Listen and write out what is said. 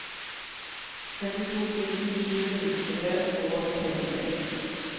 førtito tusen sju hundre og trettitre